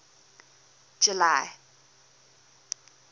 july